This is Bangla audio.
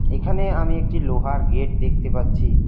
এখানে আমি একটি লোহার গেট দেখতে পাচ্ছি।